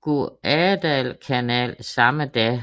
Guadalcanal samme dag